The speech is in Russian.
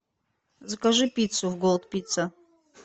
закажи пиццу в голд пицца